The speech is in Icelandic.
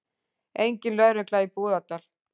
Engin lögregla í Búðardal